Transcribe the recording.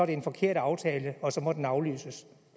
det en forkert aftale og så må den aflyses